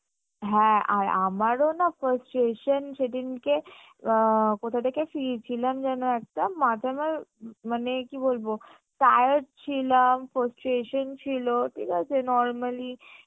হ্যাঁ আর আমারও না frustration সেদিনকে আ কথা থেকে ফিরছিলাম যেন একটা মানে কি বলবো tired ছিলাম frustration ছিলো ঠিক আছে normally